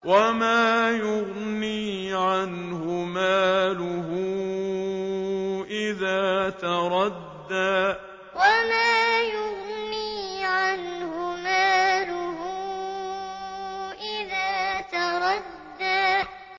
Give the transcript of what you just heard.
وَمَا يُغْنِي عَنْهُ مَالُهُ إِذَا تَرَدَّىٰ وَمَا يُغْنِي عَنْهُ مَالُهُ إِذَا تَرَدَّىٰ